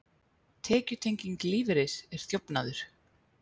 Tekjutenging lífeyris er þjófnaður